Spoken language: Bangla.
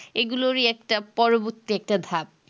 এইগুলোরই একটা পরবর্তী একটা ধাপ